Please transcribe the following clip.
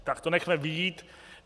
Tak to nechme být.